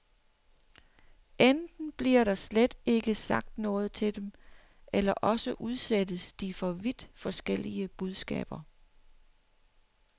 Enten bliver der slet ikke sagt noget til dem, eller også udsættes de for vidt forskellige budskaber.